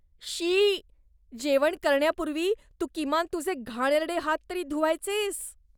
शी! जेवण करण्यापूर्वी तू किमान तुझे घाणेरडे हात तरी धुवायचेस.